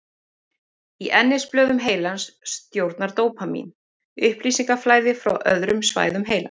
Í ennisblöðum heilans stjórnar dópamín upplýsingaflæði frá öðrum svæðum heilans.